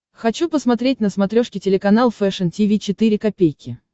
хочу посмотреть на смотрешке телеканал фэшн ти ви четыре ка